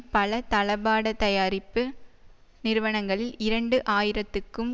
பல தளபாட தயாரிப்பு நிறுவனங்களில் இரண்டு ஆயிரத்துக்கும்